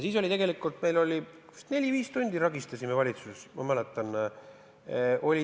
Siis me vist neli-viis tundi ragistasime valitsuses.